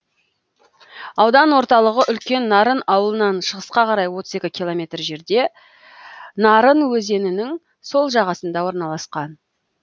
аудан орталығы үлкен нарын ауылынан шығысқа қарай отыз екі километр жерде нарын өзенінің сол жағасында орналасқан